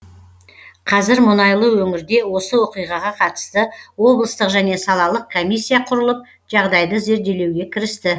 қазір мұнайлы өңірде осы оқиғаға қатысты облыстық және салалық комиссия құрылып жағдайды зерделеуге кірісті